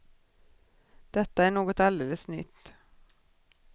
Detta är något alldeles nytt.